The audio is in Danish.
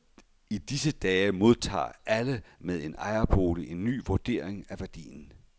I disse dage modtager alle med en ejerbolig en ny vurdering af værdien.